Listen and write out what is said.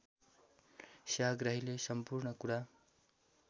सेवाग्राहीले सम्पूर्ण कुरा